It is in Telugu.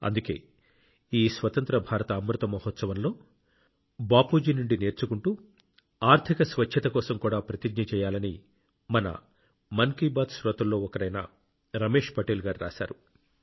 అందుకే ఈ స్వతంత్ర భారత అమృత మహోత్సవంలో బాపూజీ నుండి నేర్చుకుంటూ ఆర్థిక స్వచ్ఛత కోసం కూడా ప్రతిజ్ఞ చేయాలని మన మన్ కీ బాత్ శ్రోతల్లో ఒకరైన రమేష్ పటేల్ గారు రాశారు